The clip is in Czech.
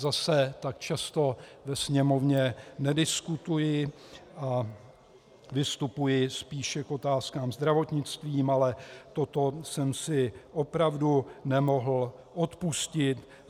Zase tak často ve sněmovně nediskutuji a vystupuji spíše k otázkám zdravotnickým, ale toto jsem si opravdu nemohl odpustit.